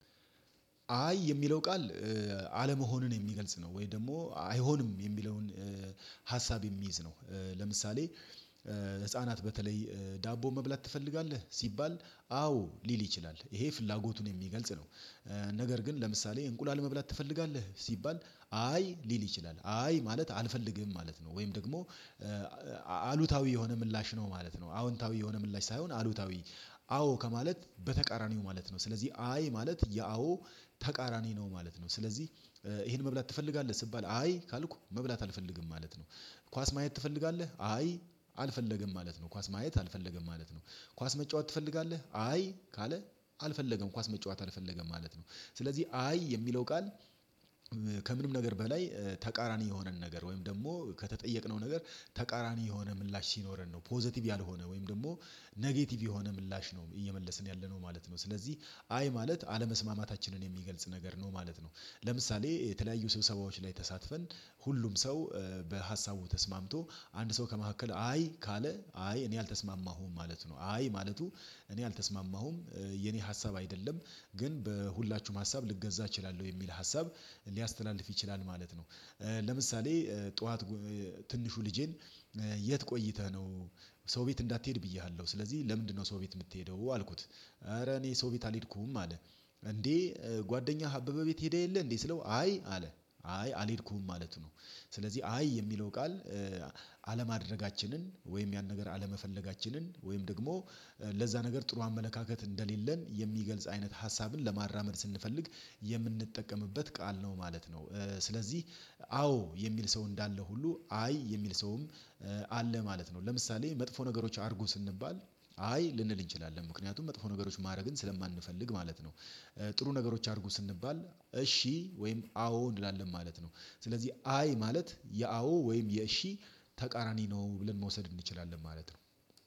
አይ የሚለው ቃል አለመሆንን የሚገልጽ ነው። ወይ ደግሞ አይሆንም የሚለውን ሀሳብ የሚይዝ ነው። ለምሳሌ ህፃናት በተለይ ዳቦ መብላት ትፈልጋለህ? ሲባል አዎ ሊል ይችላል። ይሄ ፍላጎቱን የሚገልጽ ነው። ነገር ግን ለምሳሌ እንቁላል መብላት ትፈልጋለህ? ሲባል አይ ሊል ይችላል። አይ ማለት አልፈልግም ማለት ነው። ወይም ደግሞ አሉታዊ የሆነ ምላሽ ነው ማለት ነው። አዎንታዊ የሆነ ምላሽ ሳይሆን አሉታዊ አዎ ከማለት በተቃራኒው ማለት ነው። ስለዚህ አይ ማለት የአዎ ተቃራኒ ነው ማለት ነው። ስለዚህ ይሄን መብላት ትፈልጋለህ ስባል አይ ካልኩ መብላት አልፈልግም ማለት ነው። ኳስ ማየት ትፈልጋለህ? አይ አልፈለገም ማለት ነው። ኳስ ማየት አልፈለገም ማለት ነው። ኳስ መጫወት ትፈልጋለህ? አይ ካለ አልፈለገም ኳስ መጫወት አልፈለገም ማለት ነው። ስለዚህ አይ የሚለው ቃል ከምንም ነገር በላይ ተቃራኒ የሆነን ነገር ወይም ደግሞ ከተጠየቅነው ነገር ተቃራኒ የሆነ ምላሽ ሲኖረን ነው። ፖዘቲቭ ያልሆነ ወይም ደግሞ ኔጌቲቭ የሆነ ምላሽ ነው እየመለስን ያለነው ማለት ነው። ስለዚህ አይ ማለት አለመስማማታችንን የሚገልጽ ነገር ነው ማለት ነው። ለምሳሌ የተለያዩ ስብሰባዎች ላይ ተሳትፈን ሁሉም ሰው በሀሳቡ ተስማምቶ አንድ ሰው ከመካከል አይ ካለ አይ እኔ አልተስማማሁም ማለት ነው። አይ ማለቱ እኔ አልተስማማሁም፤ የኔ ሀሳብ አይደለም ግን በሁላችሁም ሀሳብ ልገዛ እችላለሁ የሚል ሀሳብ ሊያስተላልፍ ይችላል ማለት ነው። ለምሳሌ ጠዋት ትንሹ ልጄን የት ቆይተህ ነው? ሰው ቤት እንዳትሄድ ብዬሃለሁ ስለዚህ ለምንድነው ሰው ቤት የምትሄደው? አልኩት። ኧረ እኔ ሰው ቤት አልሄድኩም አለ። እንዴ ጓደኛህ አበበ ቤት ሄደህ የለህ እንዴ ስለው አይ አለ። አይ አልሄድኩም ማለቱ ነው። ስለዚህ አይ የሚለው ቃል አለማድረጋችንን ወይም ያን ነገር አለመፈለጋችንን ወይም ደግሞ ለዛ ነገር ጥሩ አመለካከት እንደሌለን የሚገልጽ አይነት ሀሳብን ለማራመድ ስንፈልግ የምንጠቀምበት ቃል ነው ማለት ነው። ስለዚህ አዎ የሚል ሰው እንዳለ ሁሉ አይ የሚል ሰውም አለ ማለት ነው ለምሳሌ መጥፎ ነገሮች አድርጉ ስንባል አይ ልንል እንችላለን። ምክንያቱም መጥፎ ነገሮች ማድረግን ስለማንፈልግ ማለት ነው። ጥሩ ነገሮች አድርጉ ስንባል እሺ ወይም አዎ እንላለን ማለት ነው። ስለዚህ አይ ማለት የአዎ ወይም የእሺ ተቃራኒ ነው ብለን መውሰድ እንችላለን ማለት ነው።